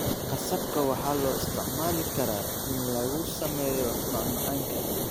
Qasabka waxaa loo isticmaali karaa in lagu sameeyo macmacaanka.